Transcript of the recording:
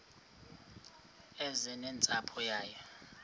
eze nentsapho yayo